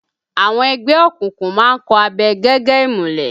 Àwọn ẹgbẹ́ òkùnkùn má ń kọ̀ abẹ gẹ́gẹ́ ìmùlẹ̀